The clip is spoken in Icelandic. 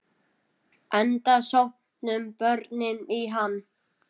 Enda sóttu börnin í hann.